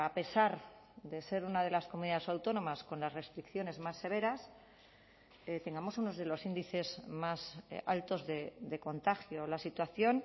pesar de ser una de las comunidades autónomas con las restricciones más severas tengamos unos de los índices más altos de contagio la situación